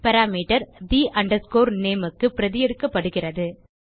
parameter the nameக்கு பிரதி எடுக்கப்படுகிறது